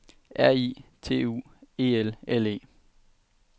R I T U E L L E